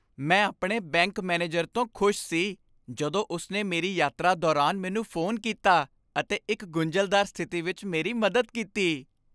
ਮੈਂ ਆਪਣੇ bank manager ਤੋਂ ਖੁਸ਼ ਸੀ ਜਦੋਂ ਉਸ ਨੇ ਮੇਰੀ ਯਾਤਰਾ ਦੌਰਾਨ ਮੈਨੂੰ ਫੋਨ ਕੀਤਾ ਅਤੇ ਇੱਕ ਗੁੰਝਲਦਾਰ ਸਥਿਤੀ ਵਿੱਚ ਮੇਰੀ ਮਦਦ ਕੀਤੀ।